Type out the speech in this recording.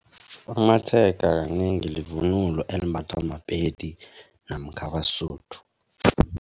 Amatshega kanengi livunulo elimbathwa maPedi namkha abaSuthu.